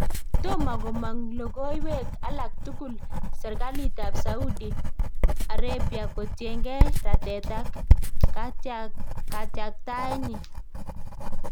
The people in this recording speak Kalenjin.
Tomo komang' lokoiwet alak tkul serkalit ab Saudi Arabiakotienge rateet ak katkyaktaet nyin